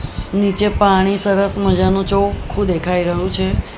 નીચે પાણી સરસ મજાનું ચોખ્ખું દેખાય રહ્યું છે.